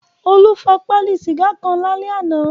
Olú fa pálí sìgá kan lálẹ́ àná.